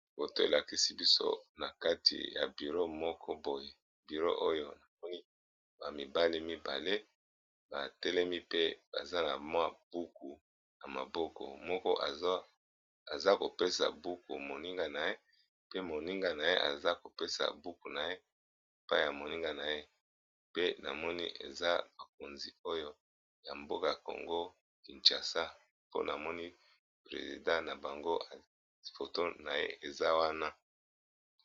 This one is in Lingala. Boto elakisi biso na kati ya biro moko boye biro oyo namoni bamibali mibale batelemi pe baza na mwa buku ya maboko moko aza kopesa buku moninga na ye, pe moninga na ye aza kopesa buku na ye pa ya moninga na ye pe namoni eza bakonzi oyo ya mboka congo kinchasa mponamoni presida na bango foton na ye eza wana.